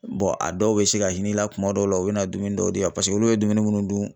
a dɔw bɛ se ka hin'i la kuma dɔw la u bɛ na dumuni dɔw di yan paseke olu bɛ dumuni munnu dun